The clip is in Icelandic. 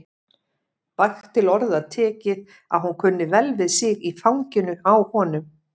Vægt til orða tekið að hún kunni vel við sig í fanginu á honum.